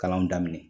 Kalanw daminɛ